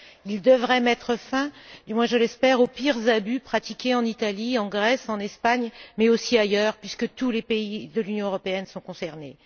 Il devrait mettre fin, du moins je l'espère, aux pires abus pratiqués en Italie, en Grèce, en Espagne, mais aussi ailleurs, puisque tous les pays de l'Union européenne sont concernés.